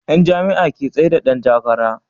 Yan jam'iya ke tsaida Dan takara